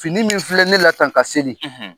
Fini min filɛ ne la tan ka seli;